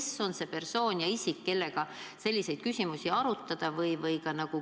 Ja kes on see persoon, kellega saaks selliseid küsimusi arutada?